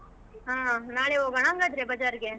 ಆಹ್ ನಾಳೆ ಹೋಗೋಣ ಹಂಗಾದ್ರೆ ಬಜಾರ್ ಗೆ?